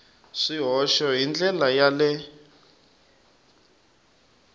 swihoxo hi ndlela ya le